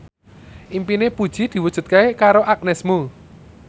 impine Puji diwujudke karo Agnes Mo